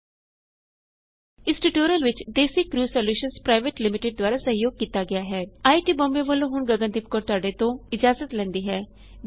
ਇਸ ਟਿਯੂਟੋਰਿਅਲ ਵਿੱਚ Desi crew solutions private limited ਦ੍ਵਾਰਾ ਸਹਿਯੋਗ ਕੀਤਾ ਗਇਆ ਹੈ ਆਈਆਈਟੀ ਬੰਬੇ ਵਲੋਂ ਹੁਣ ਗਗਨ ਦੀਪ ਕੌਰ ਤੁਹਾਡੇ ਤੋਂ ਇਜਾਜ਼ਤ ਲੇਂਦੀ ਹੈ